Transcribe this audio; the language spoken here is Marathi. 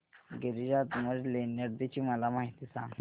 गिरिजात्मज लेण्याद्री ची मला माहिती सांग